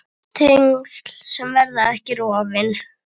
Tengsl sem verða ekki rofin.